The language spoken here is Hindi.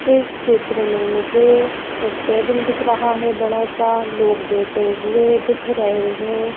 इस चित्र में मुझे एक टेबल दिख रहा है बड़ा सा लोग बैठे हुए दिख रहे हैं।